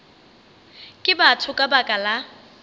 ke batho ka baka la